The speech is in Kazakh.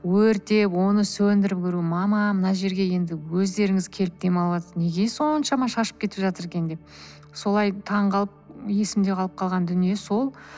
өртеп оны сөндіріп мама мына жерге енді өздеріңіз келіп дем алыватсыз неге соншама шашып кетіп жатыр екен деп солай таң қалып есімде қалып қалған дүние сол